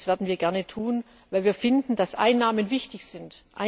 Das werden wir gerne tun, weil wir finden, dass Einnahmen wichtig sind.